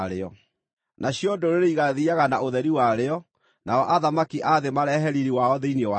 Nacio ndũrĩrĩ igaathiiaga na ũtheri warĩo, nao athamaki a thĩ marehe riiri wao thĩinĩ warĩo.